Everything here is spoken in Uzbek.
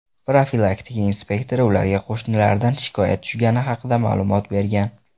Profilaktika inspektori ularga qo‘shnilardan shikoyat tushgani haqida ma’lumot bergan.